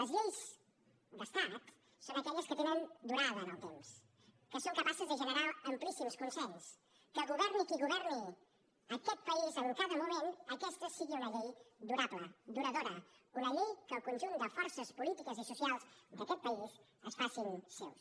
les lleis d’estat són aquelles que tenen durada en el temps que són capaces de generar amplíssims consensos que governi qui governi aquest país en cada moment aquesta sigui una llei durable duradora una llei que el conjunt de forces polítiques i socials d’aquest país es facin seva